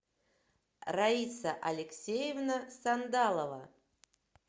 раиса алексеевна сандалова